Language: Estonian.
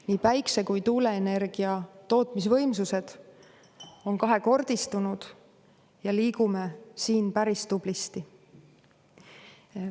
Nii päikese- kui tuuleenergia tootmise võimsused on kahekordistunud ja liigume siin päris tublisti.